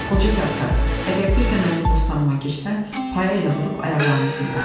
"Qoca Kaftar, əgər bir də mənim postanıma girsən, paya elə vurub ayaqlarını sındıracam."